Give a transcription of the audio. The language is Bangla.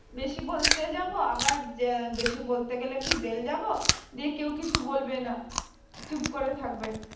বেশি বলতে যাব আবার যে বেশি বলতে গেলে কি jail যাব যে কেও কিছু বলবে না, চুপ করে থাকবে